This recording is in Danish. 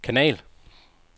kanal